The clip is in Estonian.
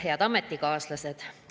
Head ametikaaslased!